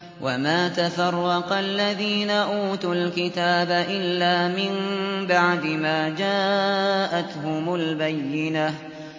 وَمَا تَفَرَّقَ الَّذِينَ أُوتُوا الْكِتَابَ إِلَّا مِن بَعْدِ مَا جَاءَتْهُمُ الْبَيِّنَةُ